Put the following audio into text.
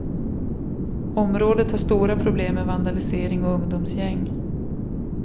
Området har stora problem med vandalisering och ungdomsgäng.